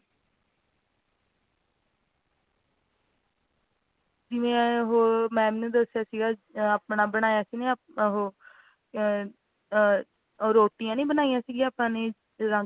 ਜਿਵੇ ਉਹ mam ਨੇ ਦਸਿਆ ਸੀਗਾ ਆਪਣਾ ਬਣਾਇਆ ਸੀਗਾ ਨਾ ਉਹ ਉਹੋ ਆ ਔ ਰੋਟੀਆਂ ਨੀ ਬਣਾਈਆਂ ਸੀਗਿਆ ਆਪਾ ਨੇ ਰੰਗ ਬਿਰੰਗੀਆਂ